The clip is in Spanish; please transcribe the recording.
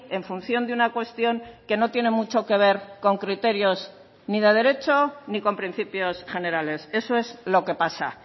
en función de una cuestión que no tiene mucho que ver con criterios ni de derecho ni con principios generales eso es lo que pasa